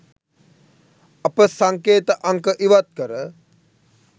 අප සංකේත අංක ඉවත්කර